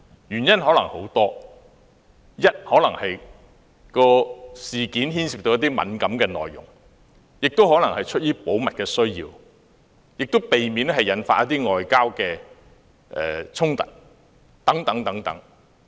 原因可能有很多，例如事件內容敏感，亦可能是出於保密的需要，或為了避免引發外交衝突等。